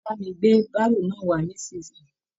Bà mi gbé baro náà wà nisinyi!